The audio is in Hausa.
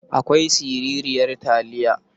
Akwai siraran taliya.